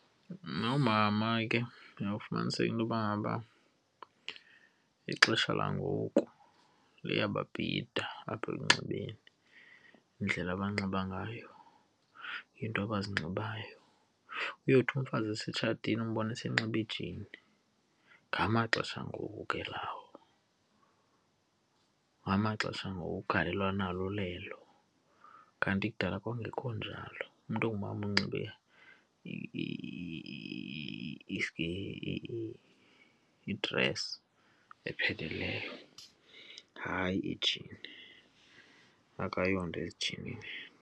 Noomama ke uyawufumaniseka into yoba ngaba ixesha langoku liyababhida apha ekunxibeni, indlela abanxiba ngayo, iinto abazinxibayo. Uyothi umfazi setshatile umbone seyinxibe ijini. Ngamaxesha angoku ke lawo, ngamaxesha angoku, ugalelo analo lelo. Kanti kudala kwakungekho njalo, umntu ongumama unxibe i-dress epheleleyo, hayi ijini. Akayonto ezijinini.